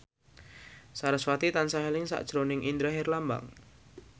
sarasvati tansah eling sakjroning Indra Herlambang